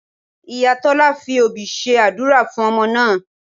Ìyá Tọ́lá fi obì ṣe àdúrà fún ọmọ náà